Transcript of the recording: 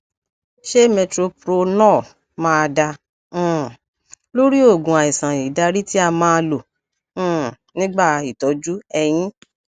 ṣé metoprolol máa dá um lórí oogun àìsàn ìdarí tí a máa lò um nígbà itọju eyín